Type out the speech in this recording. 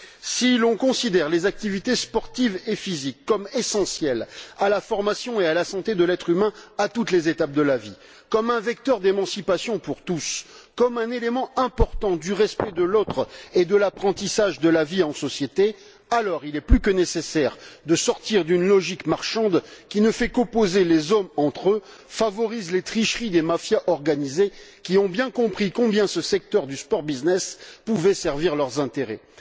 Si l'on considère les activités sportives et physiques comme essentielles à la formation et à la santé de l'être humain, à toutes les étapes de la vie, comme un vecteur d'émancipation pour tous, comme un élément important du respect de l'autre et de l'apprentissage de la vie en société, alors il est plus que nécessaire de sortir d'une logique marchande qui ne fait qu'opposer les hommes entre eux et favorise les tricheries des mafias organisées, qui ont bien compris combien ce secteur du sport business pouvait servir leurs intérêts.